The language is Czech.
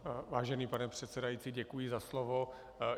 Vážený pane předsedající, děkuji za slovo.